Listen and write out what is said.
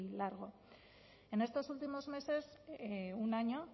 largo en estos últimos meses un año